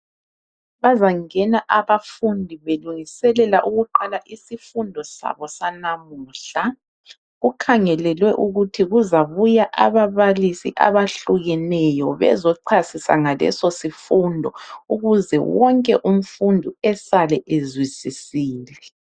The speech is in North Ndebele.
Bazangena abafundi belungiselela ukuqala isifundo sabo sanamuhla. Kukhangelelwe ukuthi kuzabuya ababalisi abahlukeneyo bezo chasisa ngaleso sifundo ukuze wonke umfundi esale ezwisisile.